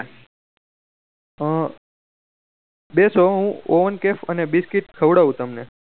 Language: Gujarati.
આ બેસો હું ઓવન કેક અને બિસ્કીટ ખવડાવ તમને